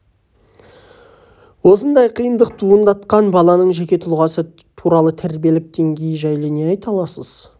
осындай қиындық туындатқан баланың жеке тұлғасы туралы тәрбиелік деңгейі жайлы не айта аласыз